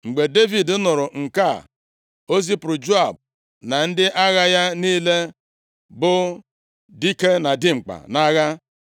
Mgbe Devid nụrụ nke a, o zipụrụ Joab na ndị agha ya niile bụ dike na dimkpa nʼagha.